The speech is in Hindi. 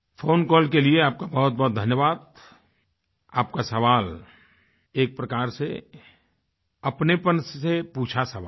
फ़ोन कॉल के लिए आप का बहुतबहुत धन्यवाद आपका सवाल एक प्रकार से अपनेपन से पूछा सवाल है